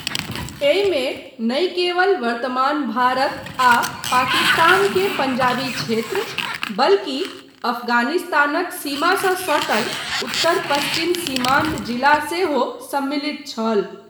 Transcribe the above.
एहिमे नहि केवल वर्तमान भारत आ पाकिस्तान के पंजाबी क्षेत्र, बल्कि अफगानिस्तानक सीमासँ सटल उत्तर पश्चिम सीमान्त जिला सेहो सम्मलित छल।